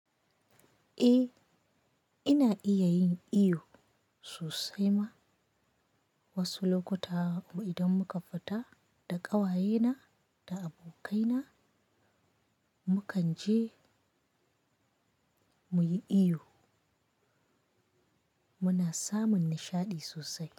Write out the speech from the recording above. Eh, ina iya yin iyo sosai ma. Wasu lokuta idan muka fita da ƙawayena da abokaina, mukan je muyi iyo. Muna samun nishaɗi sosai.